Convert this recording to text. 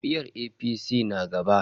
Jam'iyyar APC na zaba.